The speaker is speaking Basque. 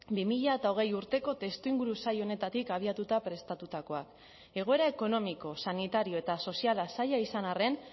bi mila hogei urteko testuinguru zail honetatik abiatuta prestatutakoak egoera ekonomiko sanitario eta soziala zaila izan arren